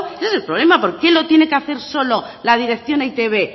ese es el problema por qué lo tiene que hacer solo la dirección de e i te be